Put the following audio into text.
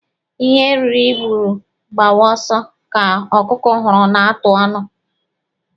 Ihe ehi hụrụ gbawa ọsọ ka ọkụkọ hụrụ na-atụ ọnụ.